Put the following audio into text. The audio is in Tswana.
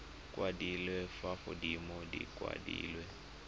kwadilwe fa godimo di kwadilwe